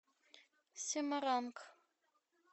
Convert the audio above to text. семаранг